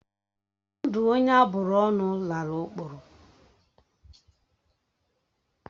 Ndụ onye aburu ọnụ lala ọkpọrọ.